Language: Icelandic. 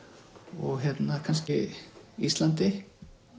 og kannski Íslandi